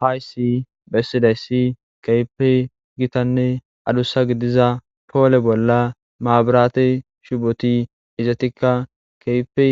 Haysi besizaysi kehipe gitanne adusa gidiza pole bolla maburate shuboti izetikka kehipe